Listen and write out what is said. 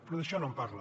però d’això no en parla